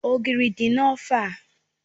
Ogiri di na ofe a.